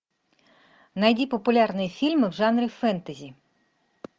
найди популярные фильмы в жанре фэнтези